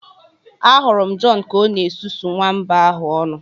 Ahụrụ m John Ka ọ na-esusu nwamba ahụ ọnụ